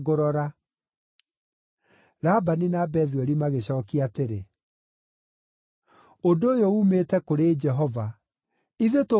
Labani na Bethueli magĩcookia atĩrĩ, “Ũndũ ũyũ uumĩte kũrĩ Jehova; ithuĩ tũngĩgĩkwĩra atĩa?